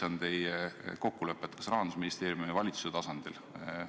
Mis on teie kokkulepped kas Rahandusministeeriumi või valitsuse tasandil?